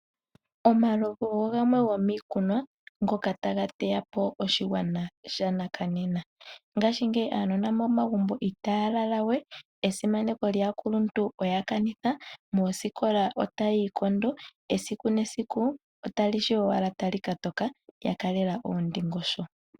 Omalovu ogo gamwe gomiikunwa ngoka taga teya po oshigwana shanakanena. Ngashingeyi aanona momagumbo itaya lala we, esimaneko lyaakuluntu oya kanitha, moosikola otaya ikondo, esiku nesiku otali shi owala tali ka toka ya kalela oondingosho.